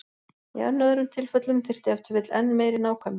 Í enn öðrum tilfellum þyrfti ef til vill enn meiri nákvæmni.